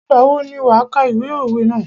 Ìgbà wo ni wà kà ìwé òwe ná?